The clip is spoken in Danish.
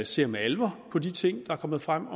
ser med alvor på de ting der er kommet frem